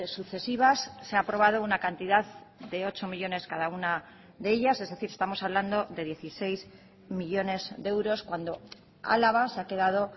sucesivas se ha aprobado una cantidad de ocho millónes cada una de ellas es decir estamos hablando de dieciséis millónes de euros cuando álava se ha quedado